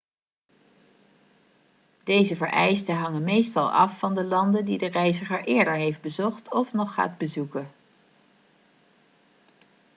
deze vereisten hangen meestal af van de landen die de reiziger eerder heeft bezocht of nog gaat bezoeken